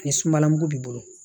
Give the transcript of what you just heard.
Ni sumala mugu b'i bolo